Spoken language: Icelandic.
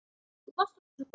Þú varst okkur svo góð.